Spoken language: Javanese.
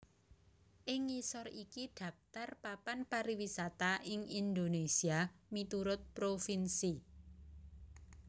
Ing ngisor iki dhaptar papan pariwisata ing Indonésia miturut provinsi